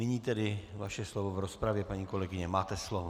Nyní tedy vaše slovo v rozpravě, paní kolegyně, máte slovo.